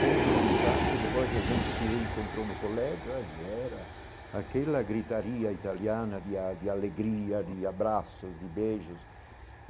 Seja na infância, depois a gente se encontrou no colégio e era aquela gritaria italiana de a de alegria, de abraços, de beijos.